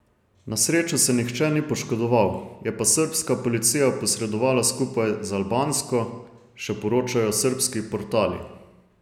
Na srečo se nihče ni poškodoval, je pa srbska policija posredovala skupaj z albansko, še poročajo srbski portali.